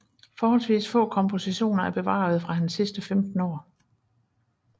Forholdsvis få kompositioner er bevarede fra hans sidste 15 år